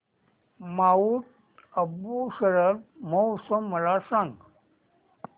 Mount Abu शरद महोत्सव मला सांग